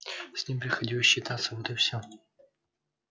с ним приходилось считаться вот и всё